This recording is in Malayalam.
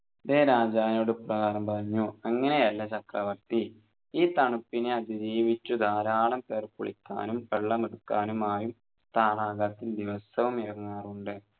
ലെ രാജാവിനോട് ഇപ്രകാരം പറഞ്ഞു അങ്ങനെയല്ല ചക്രവർത്തി ഈ തണുപ്പിനെ അതിജീവിച്ച് ധാരാളം പേർ കുളിക്കാനും വെള്ളമെടുക്കാനുമായി താടകത്തിൽ ദിവസവും ഇറങ്ങാറുണ്ട്